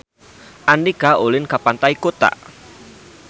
Andika ulin ka Pantai Kuta